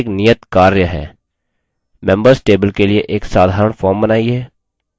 members table के लिए एक साधारण form बनाइए